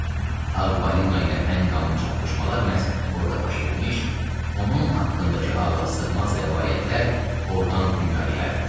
Ağ balina ilə ən qanlı çarpışmalar məhz orda baş vermiş, onun haqqındakı ağla sığmaz rəvayətlər ordan dünyaya yayılmışdı.